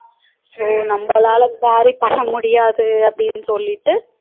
So நம்மளால carry பண்ண முடியாது அப்டினு சொல்லிட்டு